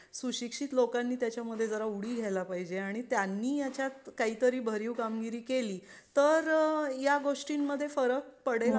सुशिक्षित लोकांनी त्याच्या मध्ये जरा उडी घ्यायला पाहिजे आणि त्यांनी याच्यात काहीतरी भरीव कामगिरी केली तर या गोष्टींमध्ये फरक पडेल.